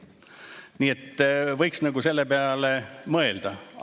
Nii et võiks selle peale mõelda.